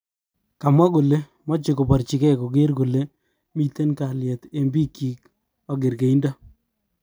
Kamwa kole moche koborchige koger kole miten kalyet eng bik kyik ak kergeindo.